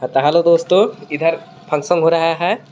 Hello दोस्तों इधर function हो रहा है.